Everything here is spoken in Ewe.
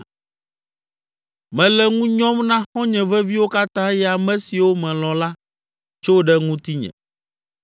Mele ŋu nyɔm na xɔ̃nye veviwo katã eye ame siwo melɔ̃ la, tso ɖe ŋutinye.